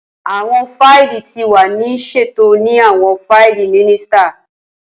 Awọn faili ti wa ni ṣeto ni awọn faili minisita